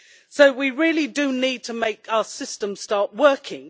So we really do need to make our system start working.